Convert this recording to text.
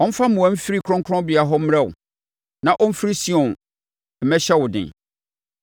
Ɔmfa mmoa mfiri kronkronbea hɔ mmrɛ wo na ɔmfiri Sion mmɛhyɛ wo den.